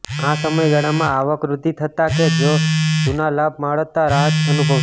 આ સમયગાળામાં આવકવૃદ્ધિ થતાં કે કોઈ જૂના લાભ મળતા રાહત અનુભવશો